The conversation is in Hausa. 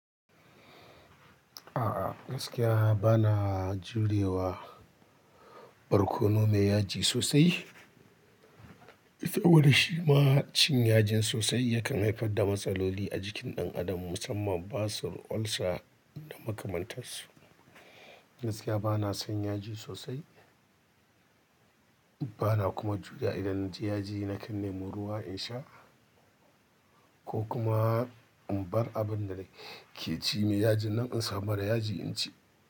A gaskiya bana jurewa. Barkono mai yaji sosai. Saboda shi ma, cin yajin sosai yakan haifar da matsaloli a jikin ɗan adam, musamman basir, ulcer da makamantan su. Gaskiya bana son yaji sosai, bana kuma juriya idan na ci yaji na kan nema ruwa in sha ko kuma in bar abin da nake ci mai yajin nan in samu mara yaji in ci.